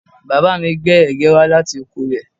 Bàbá mi gbé ẹ̀gẹ́ wá láti oko rẹ̀